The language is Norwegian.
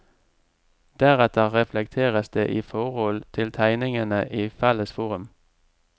Deretter reflekteres det i forhold til tegningene i felles forum.